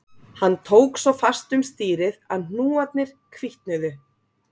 Hann tók svo fast um stýrið að hnúarnir hvítnuðu